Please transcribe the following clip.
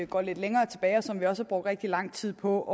går lidt længere tilbage og som vi også har brugt rigtig land tid på